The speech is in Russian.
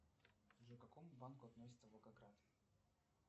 джой к какому банку относится волгоград